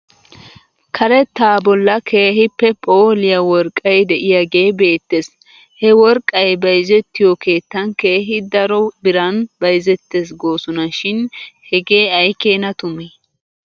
Karetaa bolla keehippe phooliyaa worqqay de'iyaagee beettes. He worqqay bayzettiyoo keettan keehi daro biran bayzettes goosona shin hegee aykeena tumee.